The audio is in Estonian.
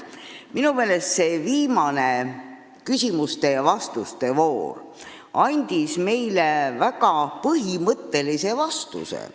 Minu meelest andis see viimane küsimuste ja vastuste voor meile väga põhimõttelise vastuse.